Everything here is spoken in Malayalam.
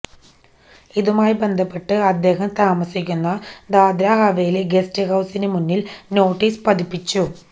ഇതുമായി ബന്ധപ്പെട്ട് അദ്ദേഹം താമസിക്കുന്ന ദാദ്ര ഹവേലി ഗസ്റ്റ് ഹൌസിന് മുന്നിൽ നോട്ടീസ് പതിപ്പിച്ചു